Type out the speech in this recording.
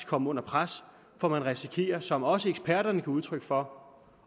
komme under pres for man risikerer som også eksperterne gav udtryk for